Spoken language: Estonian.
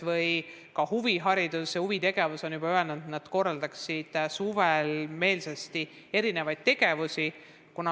Või ka huviharidus – nemadki on juba öelnud, et nad korraldaksid suvel meelsasti erinevaid tegevusi.